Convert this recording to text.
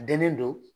Denlen don